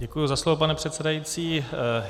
Děkuji za slovo, pane předsedající.